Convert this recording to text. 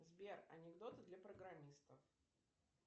сбер анекдоты для программистов